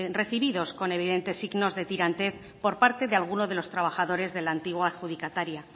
recibidos con evidentes signos de tirantez por parte de alguno de los trabajadores de la antigua adjudicataria